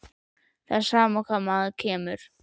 Það er sama hvar maður kemur.